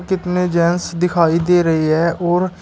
कितने जेंट्स दिखाई दे रहे है और।